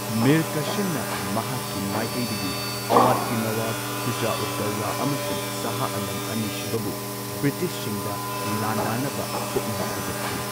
ꯃꯤꯔ ꯀꯥꯁꯤꯝꯅ ꯃꯍꯥꯛꯀꯤ ꯃꯥꯏꯀꯩꯗꯒꯤ ꯑꯋꯥꯙꯀꯤ ꯅꯋꯥꯕ, ꯁꯨꯖꯥ ꯎꯗ ꯗꯧꯂꯥ ꯑꯃꯁꯨꯡ ꯁꯥꯍ ꯑꯥꯂꯝ ꯑꯅꯤꯁꯨꯕꯕꯨ ꯕ꯭ꯔꯤꯇꯤꯁꯁꯤꯡꯗ ꯂꯥꯟꯗꯥꯅꯕ ꯄꯨꯛꯅꯤꯡ ꯊꯧꯒꯠꯈꯤ꯫